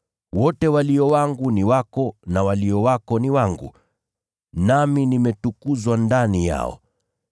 Wote walio wangu ni wako na walio wako ni wangu, nami nimetukuzwa ndani yao.